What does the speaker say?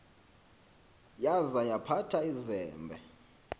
yaza yaphatha izembe